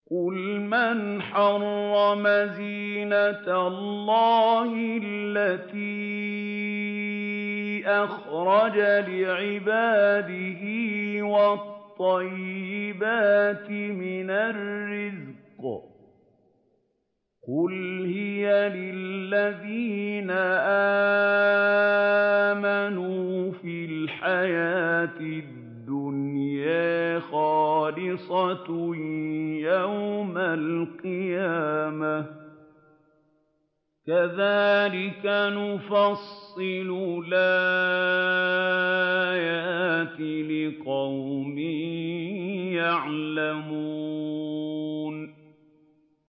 قُلْ مَنْ حَرَّمَ زِينَةَ اللَّهِ الَّتِي أَخْرَجَ لِعِبَادِهِ وَالطَّيِّبَاتِ مِنَ الرِّزْقِ ۚ قُلْ هِيَ لِلَّذِينَ آمَنُوا فِي الْحَيَاةِ الدُّنْيَا خَالِصَةً يَوْمَ الْقِيَامَةِ ۗ كَذَٰلِكَ نُفَصِّلُ الْآيَاتِ لِقَوْمٍ يَعْلَمُونَ